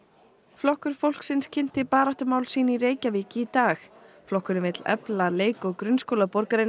flokkur fólksins kynnti baráttumál sín í Reykjavík í dag flokkurinn vill efla leik og grunnskóla borgarinnar